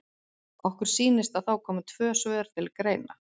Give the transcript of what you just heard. Okkur sýnist að þá komi tvö svör til greina.